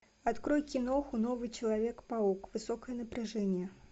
открой киноху новый человек паук высокое напряжение